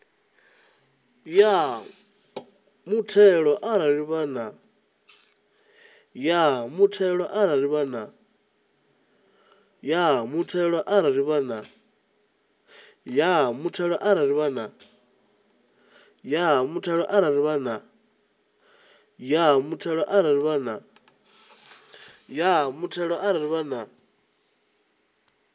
ya muthelo arali vha na